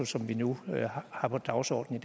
som vi nu har på dagsordenen